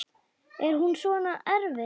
Er hún svona erfið?